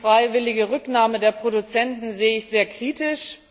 Die freiwillige Rücknahme der Produzenten sehe ich sehr kritisch.